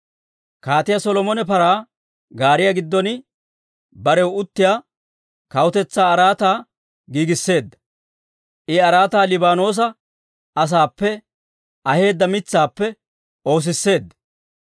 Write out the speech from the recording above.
Kaatiyaa Solomon paraa gaariyaa giddon, barew uttiyaa kawutetsaa araataa giigisseedda. I araataa Liibaanoosa asaappe aheedda mitsaappe oosisseedda.